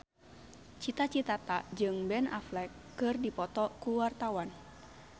Cita Citata jeung Ben Affleck keur dipoto ku wartawan